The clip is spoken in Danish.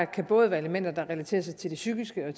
kan både være elementer der relaterer sig til det psykiske